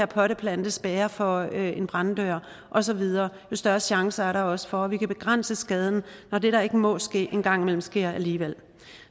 potteplante spærrer for en branddør og så videre jo større chancer er der også for at vi kan begrænse skaden når det der ikke må ske en gang imellem sker alligevel